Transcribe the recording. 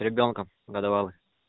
ребёнка годовалый